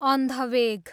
अन्धवेग